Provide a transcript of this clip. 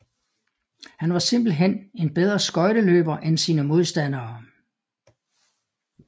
Han var simpelthen en bedre skøjteløber end sine modstandere